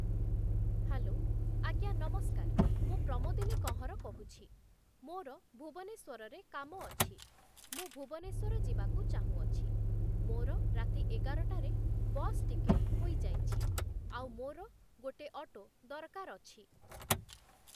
Hello ଆଜ୍ଞା ନମସ୍କାର ମୁଁ ପ୍ରମୋଦିନି କଁହର କହୁଛି, ମୋର ଭୁବନେଶ୍ୱରରେ କାମ ଅଛି, ମୁଁ ଭୁବନେଶ୍ୱର ଯିବାକୁ ଚାହୁଁଅଛି, ମୋର ରାତି ଏଗାରଟାରେ ବସ୍‌ ଟିକେଟ ହୋଇଯାଇଛି, ଆଉ ମୋର ଗୋଟେ ଅଟୋ ଦରକାର ଅଛି ।